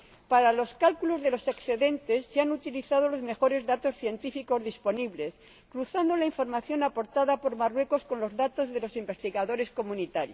para los cálculos de los excedentes se han utilizado los mejores datos científicos disponibles, cruzando la información aportada por Marruecos con los datos de los investigadores de la Unión